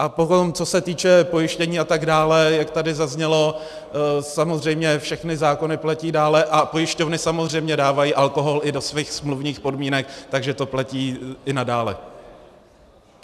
A potom, co se týče pojištění a tak dále, jak tady zaznělo, samozřejmě všechny zákony platí dále a pojišťovny samozřejmě dávají alkohol i do svých smluvních podmínek, takže to platí i nadále.